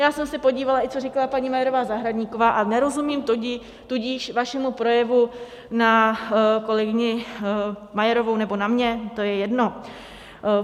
Já jsem se podívala, i co říkala paní Majerová Zahradníková, a nerozumím tudíž vašemu projevu na kolegyni Majerovou nebo na mě, to je jedno.